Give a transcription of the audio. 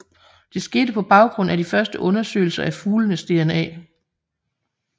Det skete på baggrund af de første undersøgelser af fuglenes DNA